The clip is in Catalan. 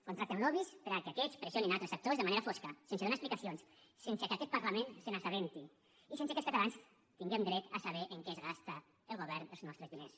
contracten lobbys perquè aquests pressionin altres actors de manera fosca sense donar explicacions sense que aquest parlament se n’assabenti i sense que els catalans tinguem dret a saber en què es gasta el govern els nostres diners